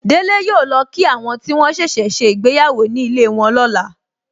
Délé yọ lọ kí àwọn tí wọ́n ṣẹ̀ṣẹ̀ ṣe ìgbéyàwó ní ilé wọn lọ́la.